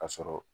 Ka sɔrɔ